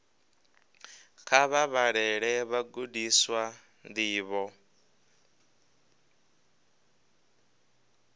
kha vha vhalele vhagudiswa ndivho